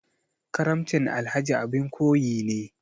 Karamcin Alhaji abin koyi ne.